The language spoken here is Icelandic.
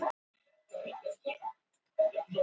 Rósinkrans, hvernig verður veðrið á morgun?